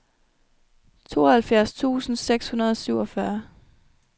tooghalvfjerds tusind seks hundrede og syvogfyrre